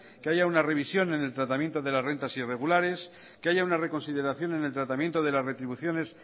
que haya una revisión en el tratamiento de las rentas irregulares que haya una reconsideración en el tratamiento de las retribuciones